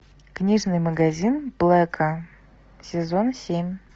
книжный магазин блэка сезон семь